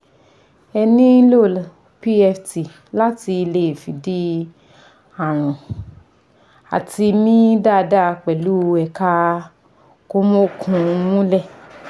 Ẹ nílò PFT láti lè fìdí ààrùn àti mí dáada pẹ̀lú ẹ̀kà kòmọ́òkun múlẹ̀